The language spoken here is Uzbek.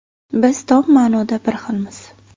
Biz tom ma’noda bir xilmiz.